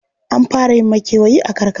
An fara yin makewayi a karakara.